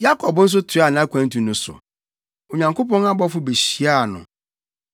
Yakob nso toaa nʼakwantu no so. Onyankopɔn abɔfo behyiaa no.